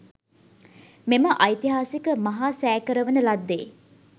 මෙම ඓතිහාසික මහා සෑ කරවන ලද්දේ